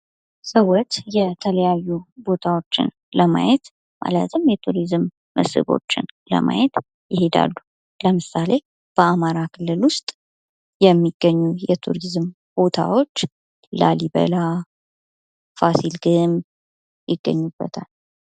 ሰዎች የተለያዩ ቦታዎችን ለማየት ማለትም የቱሪዝም መስህቦችን ለማየት ይሄዳሉ። ለምሳሌ፡-በአማራ ክልል ውስጥ የሚገኙ የቱሪዝም ቦታዎች ላሊበላ፣ ፋሲል ግንብ ይገኙበታል።